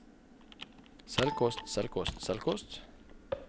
selvkost selvkost selvkost